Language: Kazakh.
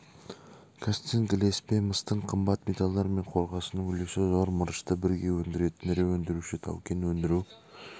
қазцинк ілеспе мыстың қымбат металдар мен қорғасынның үлесі зор мырышты бірге өндіретін ірі өндіруші таукен өндіру